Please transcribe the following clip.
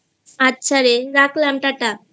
আচ্ছা রে রাখলামxa0 Tata